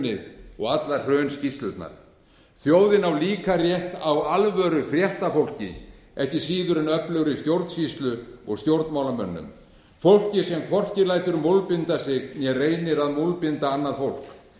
hrunið og allar hrunskýrslurnar þjóðin á líka rétt á alvöru fréttafólki ekki síður en öflugri stjórnsýslu og stjórnmálamönnum fólki sem hvorki lætur múlbinda sig né reynir að múlbinda annað fólk